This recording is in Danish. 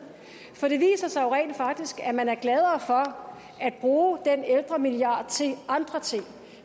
for det viser sig jo rent faktisk at man er gladere for at bruge den ældremilliard til andre ting